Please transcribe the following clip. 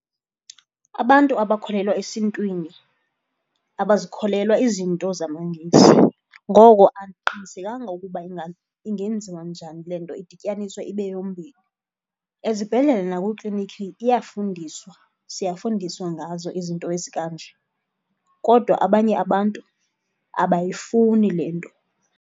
Abantu abakholelwa esiNtwini abazikholelwa izinto zamaNgesi, ngoko andiqinisekanga ukuba ingenziwa njani le nto idityaniswe ibe yombini. Ezibhedlele nakwiikliniki iyafundiswa, siyafundiswa ngazo izinto ezikanje kodwa abanye abantu abayifuni le nto.